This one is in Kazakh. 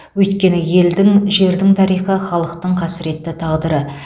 өйткені елдің жердің тарихы халықтың қасіретті тағдыры